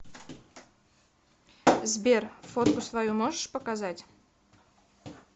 сбер фотку свою можешь показать